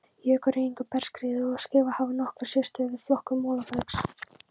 Jökulruðningur, bergskriður og skriður hafa nokkra sérstöðu við flokkun molabergs.